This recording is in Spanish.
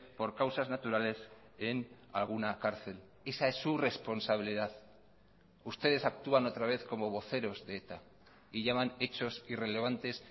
por causas naturales en alguna cárcel esa es su responsabilidad ustedes actúan otra vez como voceros de eta y llaman hechos irrelevantes